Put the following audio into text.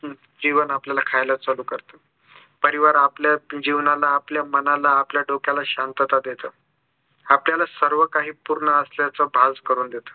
जीवन आपल्याला खायला चालू करतं परिवार आपल्या जीवनाला आपल्या मनाला आपल्या डोक्याला शांतता देतं आपल्याला सर्व काही पूर्ण असल्याचं भास करून देतं